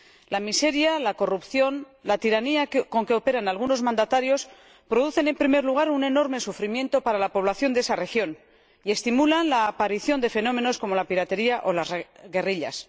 La miseria, la corrupción y la tiranía con que operan algunos mandatarios producen, en primer lugar, un enorme sufrimiento para la población de esa región y estimulan la aparición de fenómenos como la piratería o las guerrillas.